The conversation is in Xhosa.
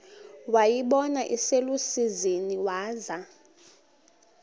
wayibona iselusizini waza